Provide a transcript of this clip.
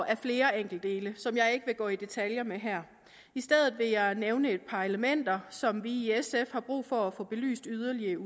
af flere enkeltdele som jeg ikke vil gå i detaljer med her i stedet vil jeg nævne et par elementer som vi i sf har brug for at få belyst yderligere